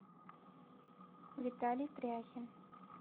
виталий пряхин